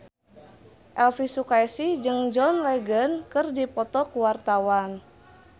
Elvy Sukaesih jeung John Legend keur dipoto ku wartawan